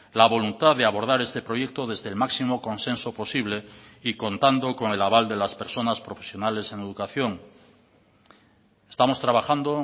la voluntad de abordar este proyecto desde el máximo consenso posible y contando con el aval de las personas profesionales en educación estamos trabajando